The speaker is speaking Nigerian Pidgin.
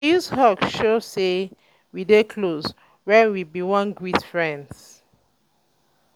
um we dey use hug show sey wey close wen we bin wan greet friends.